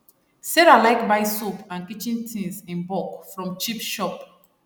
sarah like buy soap and kitchen things in bulk from cheap shop